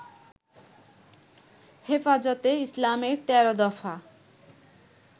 হেফাজতে ইসলামের ১৩ দফা